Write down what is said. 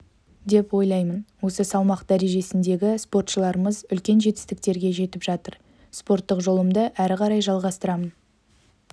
деп ойлаймын осы салмақ дәрежесіндегі спортшыларымыз үлкен жетістіктерге жетіп жатыр спорттық жолымды әрі қарай жалғастырамын